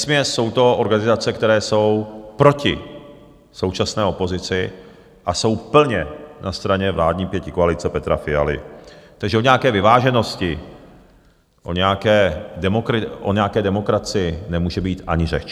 Vesměs jsou to organizace, které jsou proti současné opozici a jsou plně na straně vládní pětikoalice Petra Fialy, takže o nějaké vyváženosti, o nějaké demokracii nemůže být ani řeč.